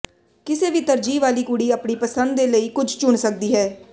ਕਿਸੇ ਵੀ ਤਰਜੀਹ ਵਾਲੀ ਕੁੜੀ ਆਪਣੀ ਪਸੰਦ ਦੇ ਲਈ ਕੁਝ ਚੁਣ ਸਕਦੀ ਹੈ